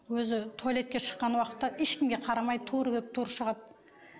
өзі туалетке шыққан уақытта ешкімге қарамай тура кетіп тура шығады